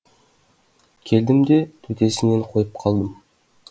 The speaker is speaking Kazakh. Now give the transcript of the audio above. келдім де төтесінен қойып қалдым